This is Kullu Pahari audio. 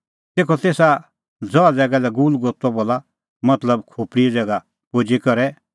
तेखअ तेसा ज़ैगा ज़हा लै गुलगुता बोला मतलब खोपल़ीए ज़ैगा पुजी करै